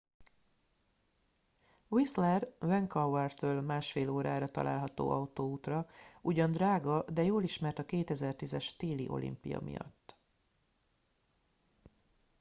whistler vancouvertől 1,5 órára található autóútra ugyan drága de jól ismert a 2010-es téli olimpia miatt